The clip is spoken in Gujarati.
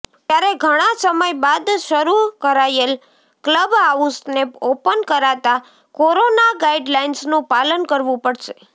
ત્યારે ઘણા સમય બાદ શરુ કરાયેલ ક્લબ હાઉસને ઓપન કરાતા કોરોના ગાઈડલાઈન્સનું પાલન કરવું પડશે